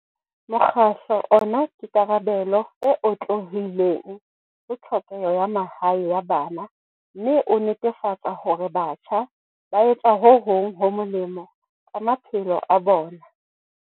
Mokgatlo ona ke karabelo e otlolohileng ho tlhokeho ya mahae ya bana mme o netefatsa hore batjha ba etsa ho hong ho molemo ka ma phelo a bona.